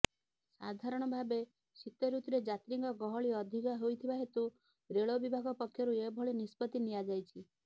ସାଧାରଣ ଭାବେ ଶୀତଋତୁରେ ଯାତ୍ରୀଙ୍କ ଗହଳି ଅଧିକ ହେଉଥିବା ହେତୁ ରେଳ ବିଭାଗ ପକ୍ଷରୁ ଏଭଳି ନିଷ୍ପତି ନିଆଯାଇଛି